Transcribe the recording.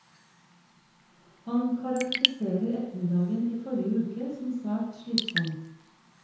Han karakteriserer ettermiddagen i forrige uke som svært slitsom.